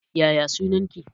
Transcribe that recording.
Yaya sunan ki